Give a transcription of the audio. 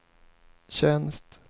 tjänst